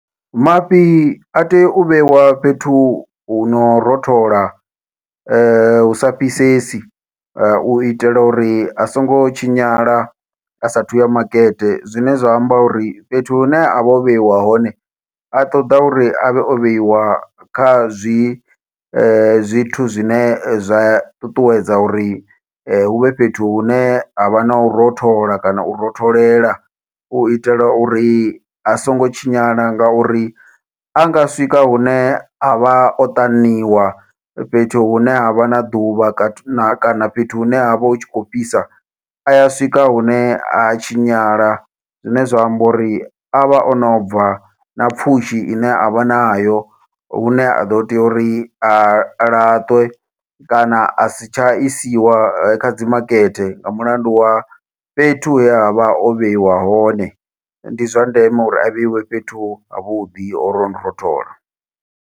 Mafhi a tea u vheiwa fhethu huno rothola husa fhisesi, uitela uri a songo tshinyala a sathu ya makete zwine zwa amba uri fhethu hune a vho vheiwa hone a ṱoḓa uri avhe o vheiwa kha zwi zwithu zwine zwa ṱuṱuwedza uri huvhe fhethu hune havha nau rothola, kana u rotholela uitela uri a songo tshinyala. Ngauri anga swika hune avha o ṱaniwa fhethu hune havha na ḓuvha na kana fhethu hune havha hu tshi kho fhisa aya swika hune a tshinyala, zwine zwa amba uri avha ono bva na pfhushi ine avha nayo hune a ḓo tea uri a laṱwe kana a si tsha isiwa kha dzi makete, nga mulandu wa fhethu he avha o vheiwa hone ndi zwa ndeme uri a vheiwe fhethu ha vhuḓi hono rothola.